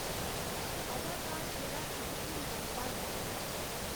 अदाकार जेह्ड़ा इक भूमिका नभांदा ऐ